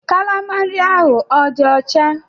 Kalama nri ahụ ọ dị ọcha?